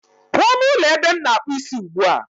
Pụọ n'ụlọ ebe m na-akpụ isi ugbu a